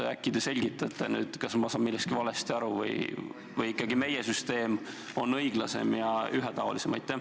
Äkki te selgitate, kas ma saan millestki valesti aru või on ikkagi meie süsteem õiglasem ja ühetaolisem?